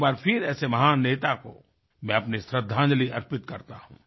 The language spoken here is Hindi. एक बार फिर ऐसे महान नेता को मैं अपनी श्रद्धांजलि अर्पित करता हूँ